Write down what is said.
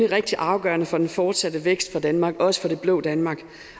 rigtig afgørende for den fortsatte vækst i danmark også det blå danmark